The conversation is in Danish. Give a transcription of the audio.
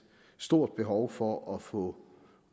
stort behov for at få